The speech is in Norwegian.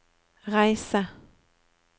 reise